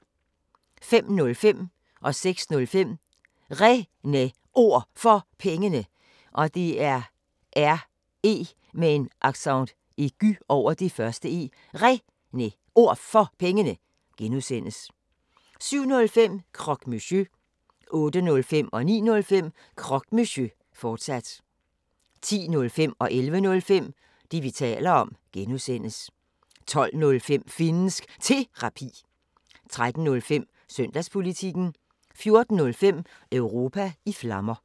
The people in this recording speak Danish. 05:05: Réne Ord For Pengene (G) 06:05: Réne Ord For Pengene (G) 07:05: Croque Monsieur 08:05: Croque Monsieur, fortsat 09:05: Croque Monsieur, fortsat 10:05: Det, vi taler om (G) 11:05: Det, vi taler om (G) 12:05: Finnsk Terapi 13:05: Søndagspolitikken 14:05: Europa i Flammer